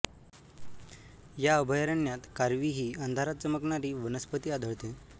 या अभयारण्यात कारवी ही अंधारात चमकणारी वनस्पती आढळते